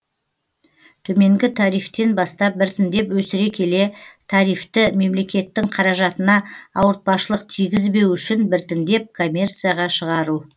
төменгі тарифтен бастап біртіндеп өсіре келе тарифті мемлекеттің қаражатына ауыртпашылық тигізбеу үшін біртіндеп коммерцияға шығару